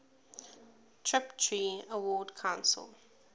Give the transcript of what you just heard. tiptree award council